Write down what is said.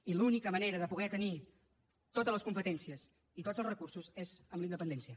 i l’única manera de poder tenir totes les competències i tots els recursos és amb la independència